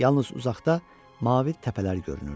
Yalnız uzaqda mavi təpələr görünürdü.